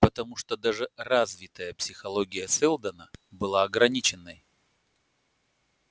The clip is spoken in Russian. потому что даже развитая психология сэлдона была ограниченной